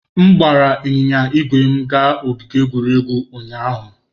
M gbara ịnyịnya ígwè m gaa ogige egwuregwu ụnyahụ.